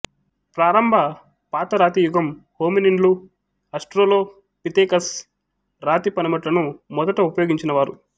ప్రారంభ పాతరాతియుగం హోమినిన్లు ఆస్ట్రలోపిథెకస్ రాతి పనిముట్లను మొదట ఉపయోగించినవారు